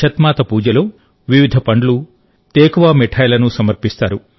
ఛత్ మాత పూజలో వివిధ పండ్లుతేకువా మిఠాయిలను సమర్పిస్తారు